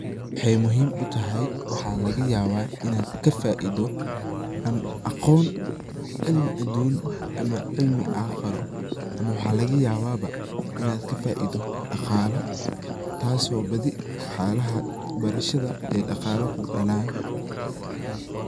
Waxay muhim utahy waxa lagayaba inad kafaido ama aqon cilmi adun ama cilmi caqaro, ama waxa laga yaba inad kafaido daqalo tasi oo badhi waxyala barashada daqalo kudalan.